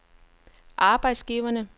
arbejdsgiverne